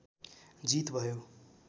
जित भयो